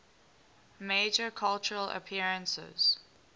major cultural appearances